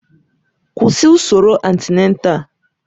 Kwụsị usoro antịnátál!